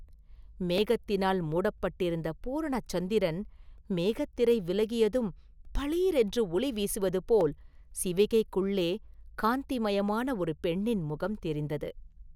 மேகத்தினால் மூடப்பட்டிருந்த பூரண சந்திரன் மேகத் திரை விலகியதும் பளீரென்று ஒளி வீசுவது போல் சிவிகைக்குள்ளே காந்திமயமான ஒரு பெண்ணின் முகம் தெரிந்தது.